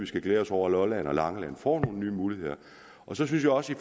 skal glæde os over at lolland og langeland får nogle nye muligheder så synes jeg også i